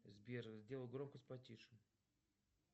сбер сделай громкость потише